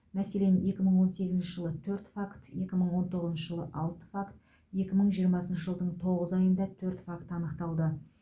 мәселен екі мың он сегізінші жылы төрт факт екі мың он тоғызыншы жылы алты факт екі мың жиырмасыншы жылдың тоғыз айында төрт факт анықталды